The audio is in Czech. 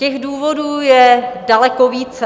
Těch důvodů je daleko více.